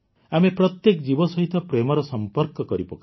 ଆମେ ପ୍ରତ୍ୟେକ ଜୀବ ସହିତ ପ୍ରେମର ସମ୍ପର୍କ କରିପକାଉ